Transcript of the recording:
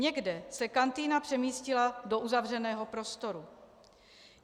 Někde se kantýna přemístila do uzavřeného prostoru.